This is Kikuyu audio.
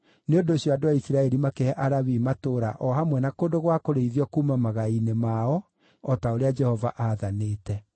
Nĩ ũndũ ũcio, andũ a Isiraeli makĩhe Alawii matũũra o hamwe na kũndũ gwa kũrĩithio kuuma magai-inĩ mao o ta ũrĩa Jehova aathanĩte: